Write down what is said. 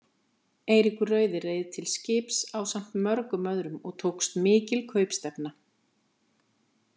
Eiríkur rauði reið til skips ásamt mörgum öðrum og tókst mikil kaupstefna.